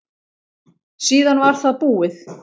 Síðan var það búið.